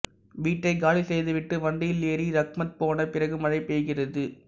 வீட்டைக் காலி செய்துவிட்டு வண்டியில் ஏறி ரஹ்மத் போன பிறகு மழை பெய்கிறது